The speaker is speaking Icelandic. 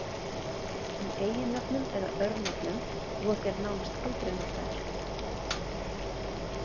Í eiginnöfnum eða örnefnum voru þeir nánast aldrei notaðir.